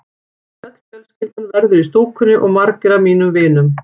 Öll fjölskyldan verður í stúkunni og margir af mínum vinum.